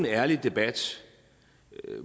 ærlig debat